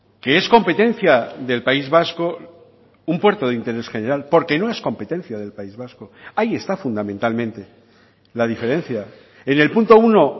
que es competencia del país vasco un puerto de interés general porque no es competencia del país vasco ahí está fundamentalmente la diferencia en el punto uno